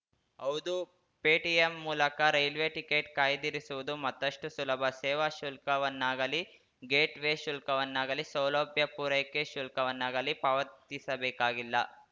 ಹೌದು ಪೇಟಿಎಂ ಮೂಲಕ railway ticket ಕಾಯ್ದಿರಿಸವುದು ಮತ್ತಷ್ಟುಸುಲಭ ಸೇವಾ ಶುಲ್ಕವನ್ನಾಗಲಿ ಗೇಟ್‌ ವೇ ಶುಲ್ಕವನ್ನಾಗಲಿ ಸೌಲಭ್ಯ ಪೂರೈಕೆ ಶುಲ್ಕವನ್ನಾಗಲಿ ಪಾವತಿಸಬೇಕಾಗಿಲ್ಲ